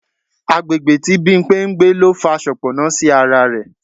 Àgbègbè tí Bimpe ń gbé ló fa soponna sí ara rẹ̀.